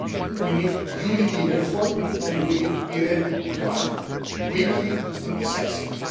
We need unity in effort, and we need to be ready to act quickly and decisively.